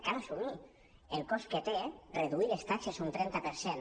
cal as·sumir el cost que té reduir les taxes un trenta per cent